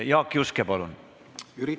Jaak Juske, palun!